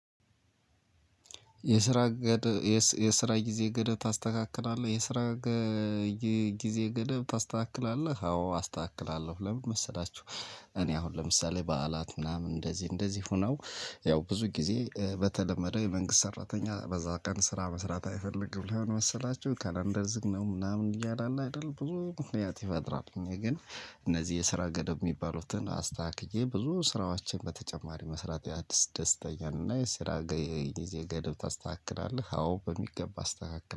የስራ ጊዜ ገደብ ታስተካክላለህ? የስራ ጊዜ ገደብ ታስተካክላለህ? አዎ አስተካክላለሁ። ለምን መሰላችሁ እኔ አሁን ለምሳሌ በዓላት ምናምን እንደዚህ እንደዚህ ሆኖ ያው ብዙ ጊዜ በተለመደው የመንግስት ሰራተኛ በዛ ቀን ስራ መስራት አይፈልግም ለምን መሰላችሁ ካላንደር ዝግ ነው ምናምን እያለ አይደል ብዙ ምክንያት ይፈጥራል። ግን እነዚህ የስራ ገደብ የሚባሉትን አስተካክዬ ብዙ ስራዎችን በተጨማሪ መስራት ያስደስተኛል እና የስራ ገደብ ታስተካክላለህ? አዎ በሚገባ አስተካክላለሁ።